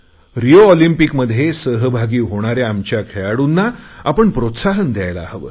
Rio ऑलिम्पिंकमध्ये सहभागी होणाऱ्या आमच्या खेळाडूंना आपण प्रोत्साहन द्यायला हवे